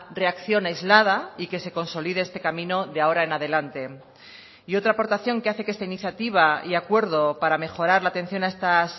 reacción aislada y que se consolide este camino de ahora en adelante y otra aportación que hace que esta iniciativa y acuerdo para mejorar la atención a estas